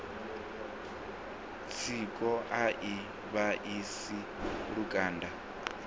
tsiko a i vhaisi lukanda